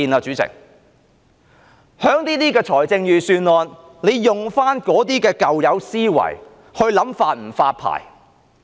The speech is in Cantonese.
主席，在預算案中，政府仍沿用舊有思維來考慮是否發牌。